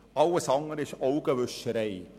Alles andere ist Augenwischerei.